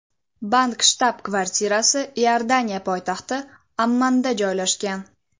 Bank shtab-kvartirasi Iordaniya poytaxti Ommanda joylashgan.